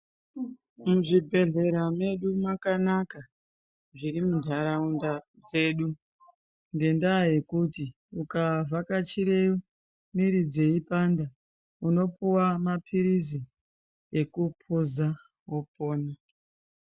Muzvibhedhlera medu makanaka zviri muntaraunda dzedu, ngendaa yekuti ukavhakachire mwiri dzeipanda unopuwa maphirizi ,ekuphuza wopona.